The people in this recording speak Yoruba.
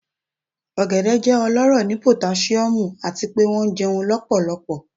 Ogede jẹ ọlọrọ ni potasiomu ati pe wọn jẹun lọpọlọpọ